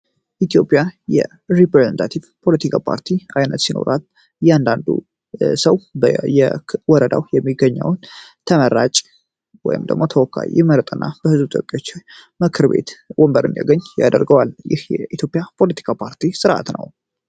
ኢትዮጵያ የሪፕሬዘንታቲቭ ፖለቲካ ፓርቲ ዓይነት ሲኖራት እያንዳንዱ ሰው የወረዳው የሚገኛውን ተመራጭ ወይም ደግሞ ተወካይ ይመረጥ እና በሕዙብ ተወካዎች ምክር ቤት ወንበርን ያገኝ ያደርገዋል። ይህ የኢትዮጵያ ፖለቲካ ፓርቲ ሥርዓት ነው።